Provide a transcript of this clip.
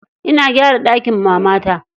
Ina gyara ɗakin mamata.